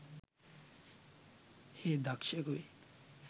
හේ දක්‍ෂයකු වෙයි.